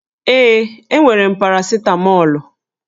Ee, enwere m parasịtamọlụ